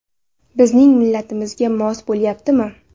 Bizning millatimizga mos bo‘lyaptimi?